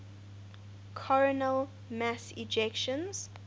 coronal mass ejections